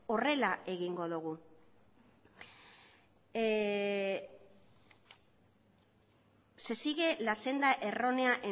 horrela egingo dugu se sigue la senda errónea